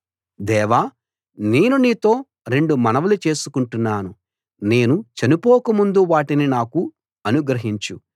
దేవా నేను నీతో రెండు మనవులు చేసుకుంటున్నాను నేను చనిపోకముందు వాటిని నాకు అనుగ్రహించు